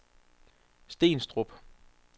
Stenstrup